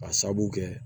Ka sabu kɛ